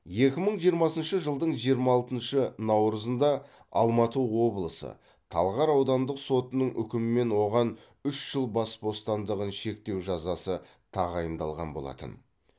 екі мың жиырмасыншы жылдың жиырма алтыншы наурызында алматы облысы талғар аудандық сотының үкімімен оған үш жыл бас бостандығын шектеу жазасы тағайындалған болатын